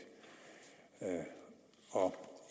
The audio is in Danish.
og